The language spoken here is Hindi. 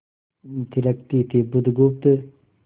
थिरकती थी बुधगुप्त